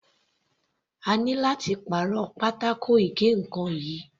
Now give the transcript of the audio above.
A ní láti pàrọ̀ pátákó ìgé ǹkan yìí.